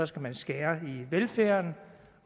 skal skære i velfærden